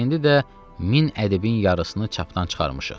İndi də 1000 ədəbin yarısını çapdan çıxarmışıq.